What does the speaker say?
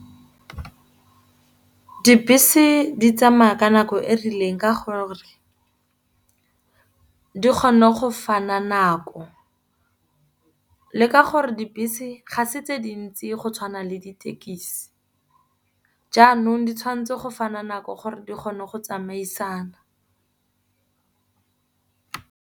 Dibese di tsamaya ka nako e rileng ka gore di kgone go fana nako. Le ka gore dibese ga se tse dintsi go tshwana le ditekisi, jaanong di tshwanetse go fana nako gore di kgone go tsamaisana.